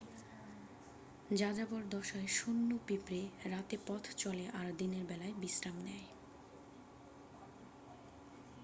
যাযাবর দশায় সৈন্য পিঁপড়ে রাতে পথ চলে আর দিনের বেলায় বিশ্রাম নেয়